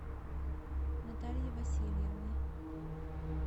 натальи васильевны